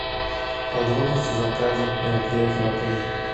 подробности заказа мероприятий в отеле